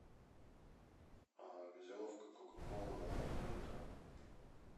газировка кока кола два литра